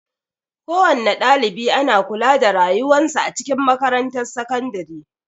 Kowana ɗalibi ana kula da rayuwan sa a cikin makarantar sakandare.